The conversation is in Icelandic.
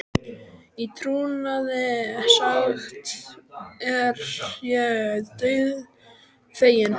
Í trúnaði sagt er ég dauðfeginn.